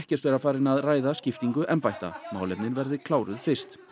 ekkert vera farin að ræða skiptingu embætta málefnin verði kláruð fyrst